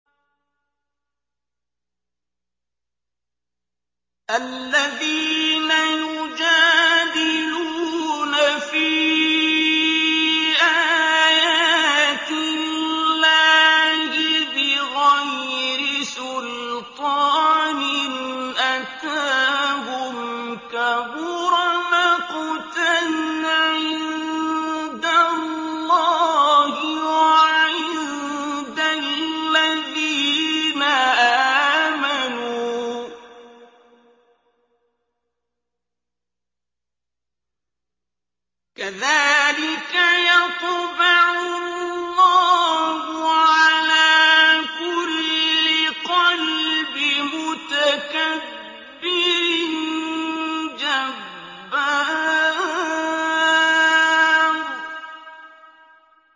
الَّذِينَ يُجَادِلُونَ فِي آيَاتِ اللَّهِ بِغَيْرِ سُلْطَانٍ أَتَاهُمْ ۖ كَبُرَ مَقْتًا عِندَ اللَّهِ وَعِندَ الَّذِينَ آمَنُوا ۚ كَذَٰلِكَ يَطْبَعُ اللَّهُ عَلَىٰ كُلِّ قَلْبِ مُتَكَبِّرٍ جَبَّارٍ